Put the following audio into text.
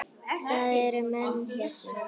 Það eru menn hérna!